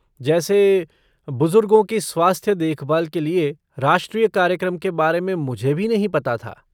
जैसे, बुजुर्गों की स्वास्थ्य देखभाल के लिए राष्ट्रीय कार्यक्रम के बारे में मुझे भी नहीं पता था